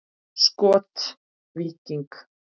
Skot: Víking.